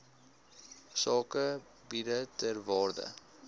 sakegebiede ter waarde